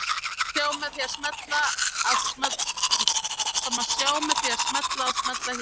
Það má sjá með því að smella að smella hér